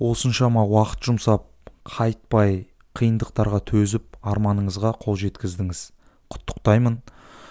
осыншама уақыт жұмсап қайтпай қиындықтарға төзіп арманыңызға қол жеткіздіңіз құттықтаймын